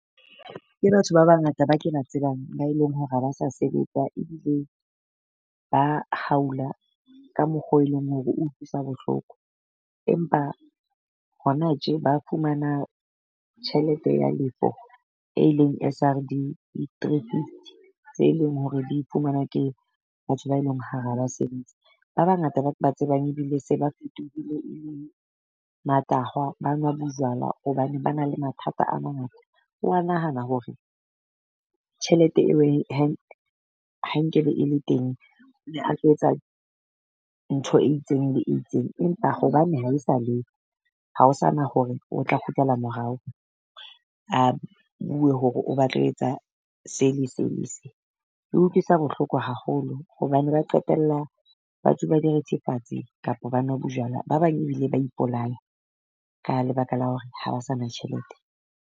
Ke batho ba bangata ba ke ba tsebang ba e leng hore ha ba sa sebetsa ebile ba haula ka mokgo e leng hore utlwisa bohloko. Empa hona tje ba fumana tjhelete ya lefo e eleng S_R_D di three fifty tse leng hore di fumanwa ke batho ba eleng ha ba sebetse. Ba bangata ba ke tsebang ebile se ba fetohile matahwa ba nwa bojwala hobane ba na le mathata a mangata. Wa nahana hore tjhelete eo ha nkebe e le teng. O ne a tlo etsa ntho e itseng le e itseng. Empa hobane ha e sa leyo ha ho sa na hore o tla kgutlela morao, a bue hore o batla ho etsa se le se le se. E utlwisa bohloko haholo hobane ba qetella ba tsuba direthefatsi kapo ba nwa bojwala, ba bang ebile ba ipolaya ka lebaka la hore ha ba sa na tjhelete.